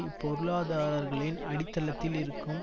இப்பொருளாதாரர்களின் அடித்தளத்தில் இருக்கும்